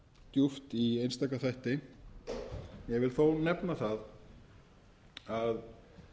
djúpt í einstaka þætti ég vil þó nefna það að